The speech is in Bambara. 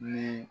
Ni